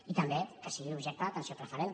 i també que sigui objecte d’atenció preferent